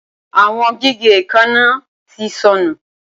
Awọn gige eekanna ti nsọnu